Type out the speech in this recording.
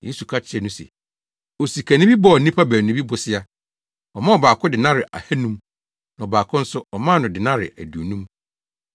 Yesu ka kyerɛɛ no se, “Osikani bi bɔɔ nnipa baanu bi bosea. Ɔmaa ɔbaako denare ahannum; na ɔbaako no nso ɔmaa no denare aduonum.